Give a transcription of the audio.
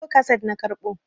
bidiyo kaset na karɓo